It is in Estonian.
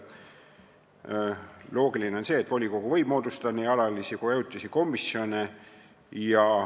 On loogiline, et volikogu võib moodustada nii alalisi kui ka ajutisi komisjone.